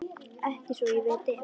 Ekki svo ég viti.